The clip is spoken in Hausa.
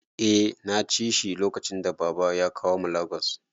Eh naci shi lokacin da baba ya kawo mu Lagos